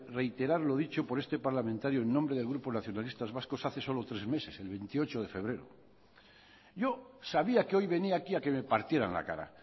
reiterar lo dicho por este parlamentario en nombre del grupo nacionalistas vascos hace solo tres meses el veintiocho de febrero yo sabía que hoy venía aquí a que me partieran la cara